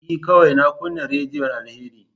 E, kawai na kunna rediyon Alheri.